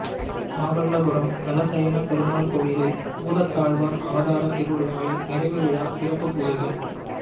மாமல்லபுரம் தலசயனப் பெருமாள் கோயிலில் பூதத்தாழ்வார் அவதாரத் திருவிழாவில் நிறைவு விழா சிறப்பு பூஜைகள்